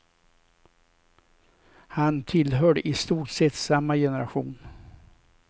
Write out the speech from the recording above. Han tillhörde i stort sett samma generation.